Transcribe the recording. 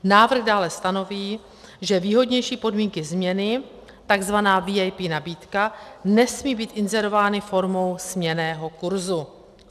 Návrh dále stanoví, že výhodnější podmínky směny, tzv. VIP nabídka, nesmí být inzerovány formou směnného kurzu.